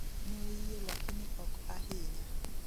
Noyie lakini ok ahinya